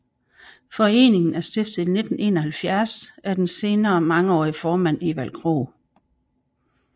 Foreningen er stiftet i 1971 af den senere mangeårige formand Evald Krog